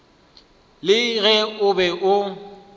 le ge o be o